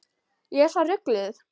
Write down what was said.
Ég er svo rugluð.